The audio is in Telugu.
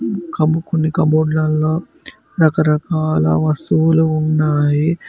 కబ్ కొన్ని కబోర్డ్ లల్లో రకరకాల వస్తువులు ఉన్నాయి.